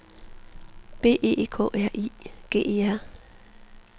B E K R I G E R